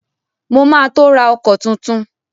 Mo ma tó ra ọkọ̀ tuntun